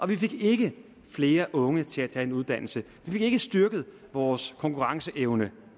vi fik ikke flere unge til at tage en uddannelse vi fik ikke styrket vores konkurrenceevne